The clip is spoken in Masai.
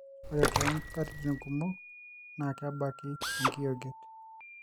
ore too nkatitin kumok, naa kebaki enkiyioget.